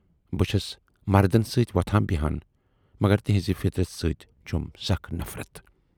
بہٕ چھَس مردن سٍتۍ وۅتھان بیہان مگر تِہٕنزِ فِطرٔژ سٍتۍ چھَم سخ نفرت۔